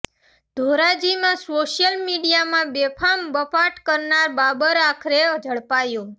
ધોરાજીમાં social મીડિયામાં બેફામ બફાટ કરનાર બાબર આખરે ઝડપાયો